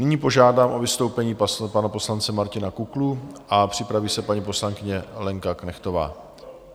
Nyní požádám o vystoupení pana poslance Martina Kuklu a připraví se paní poslankyně Lenka Knechtová.